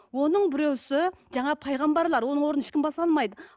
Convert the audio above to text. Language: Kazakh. оның біреуісі жаңағы пайғамбарлар оның орнын ешкім баса алмайды